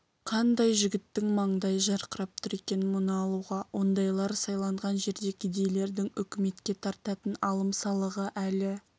қандай жігіттің маңдайы жарқырап тұр екен мұны алуға ондайлар сайланған жерде кедейлердің үкіметке тартатын алым-салығы әлі